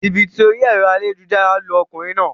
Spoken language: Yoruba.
Jìbìtì orí èro ayélujára lu okùnrin naa